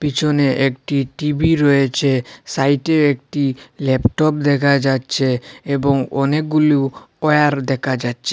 পিছনে একটি টি_ভি রয়েছে সাইটে একটি ল্যাপটপ দেখা যাচ্ছে এবং অনেকগুলু ওয়্যার দেখা যাচ্ছে।